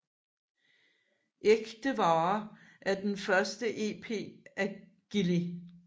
Ækte Vare er den første EP af Gilli